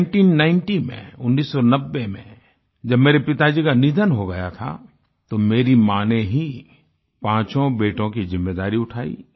nineteen ninety में 1990 में जब मेरे पिताजी का निधन हो गया था तो मेरी माँ ने ही पाँचों बेटों की जिम्मेदारी उठायी